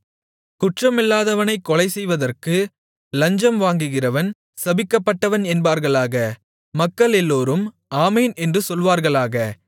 குற்றமில்லாதவனைக் கொலைசெய்வதற்கு லஞ்சம் வாங்குகிறவன் சபிக்கப்பட்டவன் என்பார்களாக மக்களெல்லோரும் ஆமென் என்று சொல்வார்களாக